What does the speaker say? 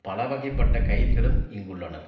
பல வகைப்பட்ட கைதிகளும் இங்குள்ளனர்